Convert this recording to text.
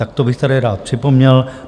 Tak to bych tady rád připomněl.